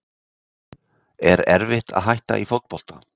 Er erfitt að hætta í fótbolta?